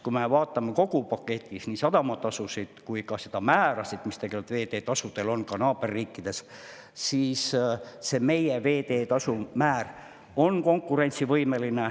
Kui me vaatame kogu paketis nii sadamatasusid kui ka veeteetasu määrasid naaberriikides, siis meie veeteetasu määr on konkurentsivõimeline.